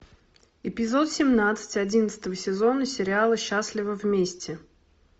эпизод семнадцать одиннадцатого сезона счатливый вместе